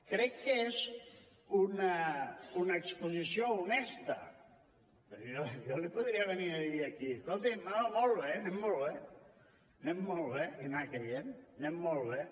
crec que és una exposició honesta perquè jo li podria venir a dir aquí escolti’m no molt bé anem molt bé anem molt bé i anar caient anem molt bé